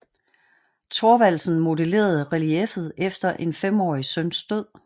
Thorvaldsen modellerede relieffet efter en femårig søns død